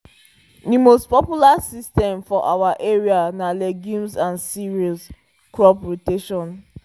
the most popular system for our area na legumes and cereals crop rotation